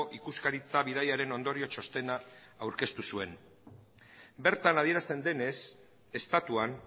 ikuskaritza bidaiaren ondorio txostena aurkeztu zuen bertan adierazten denez estatuan